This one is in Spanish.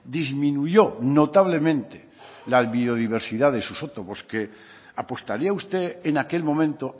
disminuyó notablemente la biodiversidad de su sotobosque apostaría usted en aquel momento